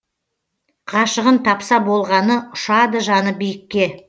ғашығын тапса болғаны ұшады жаны биікке